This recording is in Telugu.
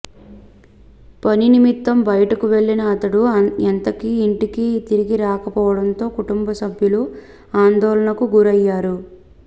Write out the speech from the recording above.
పనినిమిత్తం బయటకు వెళ్లిన అతడు ఎంతకీ ఇంటికి తిరిగి రాకపోవడంతో కుటుంబసభ్యులు ఆందోళనకు గురయ్యారు